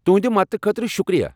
تہنٛد مدتہٕ خٲطرٕ شُکریہ۔